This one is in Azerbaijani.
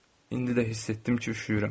İndi də hiss etdim ki, üşüyürəm.